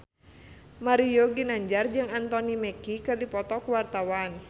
Mario Ginanjar jeung Anthony Mackie keur dipoto ku wartawan